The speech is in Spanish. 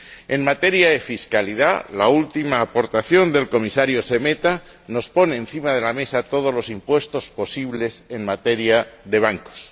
En materia de fiscalidad, la última aportación del Comisario Šemeta pone encima de la mesa todos los impuestos posibles en materia de bancos.